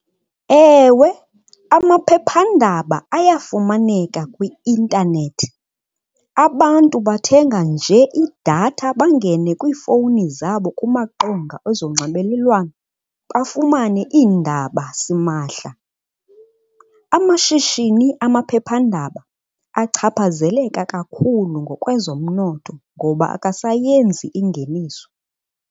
Ewe, amaphephandaba ayafumaneka kwi-intanethi. Abantu bathenga nje idatha bangene kwiifowuni zabo kumaqonga ozonxibelelwano bafumane iindaba simahla. Amashishini amaphephandaba achaphazeleka kakhulu ngokwezomnotho ngoba akasayenzi ingeniso.